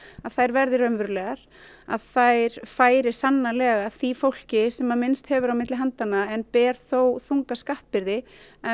að þær verði raunverulegar að þær færi sannarlega því fólki sem minnst hefur milli handanna en ber þó þunga skattbyrði